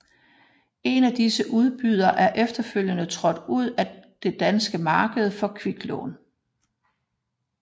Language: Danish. En af disse udbydere er efterfølgende trådt ud af det danske marked for kviklån